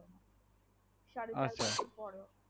সাড়ে চার বছর পরে